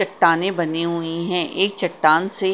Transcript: चट्टाने बने हुए है एक चट्टान से--